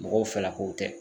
Mɔgɔw fɛla kow tɛ.